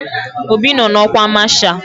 Obi nọ n'ọkwa masha